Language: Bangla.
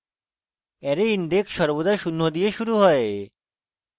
array index সর্বদা শূন্য দিয়ে শুরু হয়